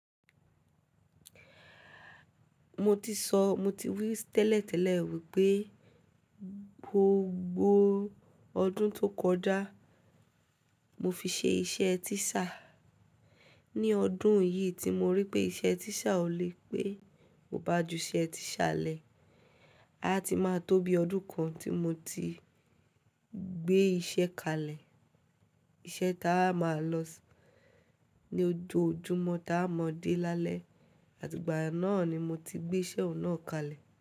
Mo ti sọ, mo ti wí tẹ́lẹ̀tẹ́lẹ̀ wípé gbogbo ọdún tó kọjá mo fi ṣe iṣẹ́ tíṣà. Ni odun yi tu mo ri pe ise teacher o le, pe, mo va juse tusa le. A ti máa tó bi ọdún kan tí mo ti gbé iṣẹ́ kalẹ̀. Iṣẹ́ táa wa máa lọ ní ojú ojúmọ́ táa mọ dé lálẹ́, àti ìgbà náà ni mo ti gbé iṣẹ́ ọ̀un naà kalẹ̀